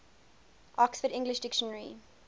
oxford english dictionary